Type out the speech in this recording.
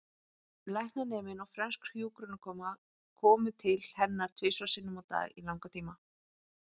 Læknaneminn og frönsk hjúkrunarkona komu til hennar tvisvar sinnum á dag í langan tíma.